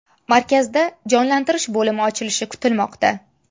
Markazda jonlantirish bo‘limi ochilishi kutilmoqda.